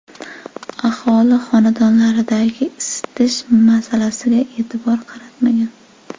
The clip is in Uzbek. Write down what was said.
Aholi xonadonlaridagi isitish masalasiga e’tibor qaratmagan.